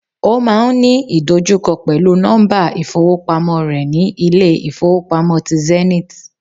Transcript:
Ó máa n ní ìdojúkọ pèlúu nọ́mbà ìfowópamó re ni Ilé ìfowópamọ́ ti Zenith